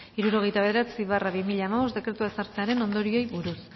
hirurogeita bederatzi barra bi mila hamabost dekretua ezartzearen ondorioei buruz